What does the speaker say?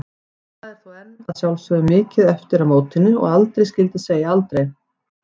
Það er þó enn að sjálfsögðu mikið eftir að mótinu og aldrei skyldi segja aldrei.